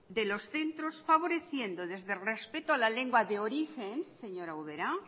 de los centros favoreciendo desde el respeto a la lengua de origen señora ubera